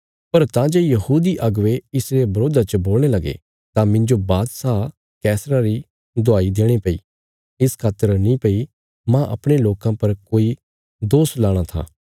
पर तां जे यहूदी अगुवे इसरे बरोधा च बोलणे लगे तां मिन्जो बादशाह कैसरा री दुहाई देणी पैई इस खातर नीं भई मांह अपणे लोकां पर कोई दोष लाणा था